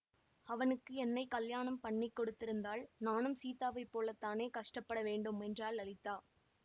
அவனுக்கு என்னை கலியாணம் பண்ணி கொடுத்திருந்தால் நானும் சீதாவை போலத்தானே கஷ்டப்பட வேண்டும் என்றாள் லலிதா